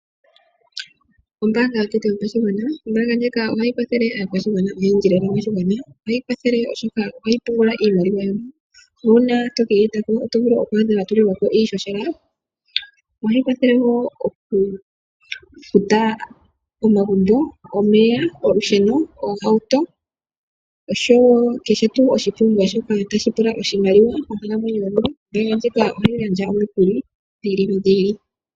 Ombaanga yotango yopashigwana. Ombaanga ndjika ohayi kwathele aakwashigwana oyendji lela moshigwana. Ohayi kwathele oshoka ohayi pungula iimaliwa nuuna to keyi talako oto adha wa tulilwako iishoshela . Ohayi kwathele woo okufuta omagumbo, omeya, olusheno, oohauto oshowo kehe tuu oshipumbiwa shoka tashi pumbwa oshimaliwa monkalamwenyo yomuntu. Ombaanga ndjika ohayi gandja omikuli.